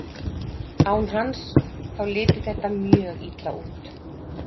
Án hans, þá liti þetta mjög illa út.